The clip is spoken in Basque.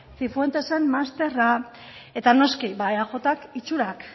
cifuentesen masterra eta noski ba eajk itxurak